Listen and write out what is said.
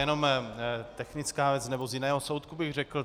Jenom technická věc, nebo z jiného soudku, bych řekl.